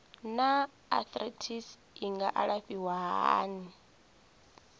naa arthritis i nga alafhiwa hani